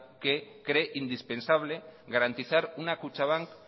qué cree indispensable garantizar una kutxabank